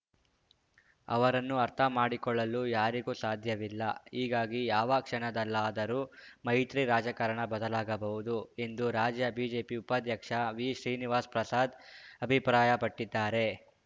ಅವರನ್ನು ಅರ್ಥ ಮಾಡಿಕೊಳ್ಳಲು ಯಾರಿಗೂ ಸಾಧ್ಯವಿಲ್ಲ ಹೀಗಾಗಿ ಯಾವ ಕ್ಷಣದಲ್ಲಾದರೂ ಮೈತ್ರಿ ರಾಜಕಾರಣ ಬದಲಾಗಬಹುದು ಎಂದು ರಾಜ್ಯ ಬಿಜೆಪಿ ಉಪಾಧ್ಯಕ್ಷ ವಿಶ್ರೀನಿವಾಸ್ ಪ್ರಸಾದ್‌ ಅಭಿಪ್ರಾಯಪಟ್ಟಿದ್ದಾರೆ